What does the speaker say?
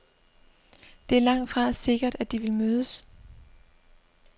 Det er langtfra sikkert, at de vil mødes.